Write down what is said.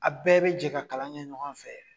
A bɛɛ be jɛ ka kalan kɛ ɲɔgɔn fɛ